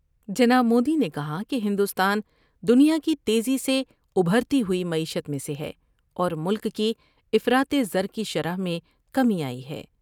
جناب مودی نے کہا کہ ہندوستان دنیا کی تیزی سے ابھرتی ہوئی معیشت میں سے ہے اور ملک کی افراط زر کی شرح میں کمی آئی ہے ۔